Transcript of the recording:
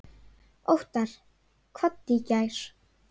Óttar kvaddi í gær.